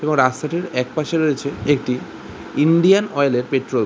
এবং রাস্তাটির একপাশে রয়েছে একটি ইন্ডিয়ান অয়েল এর পেট্রল ।